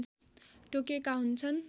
तोकेका हुन्छन्